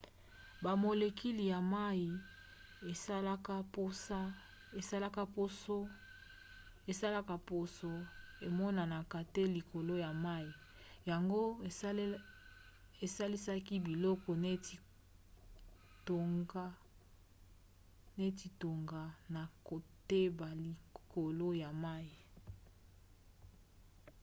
bamolecule ya mai esalaka poso emonanaka te likolo ya mai yango esalisaka biloko neti tonga na kotepa likolo ya mai